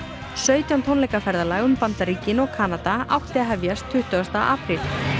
sautján tónleika ferðalag um Bandaríkin og Kanada átti að hefjast tuttugasta apríl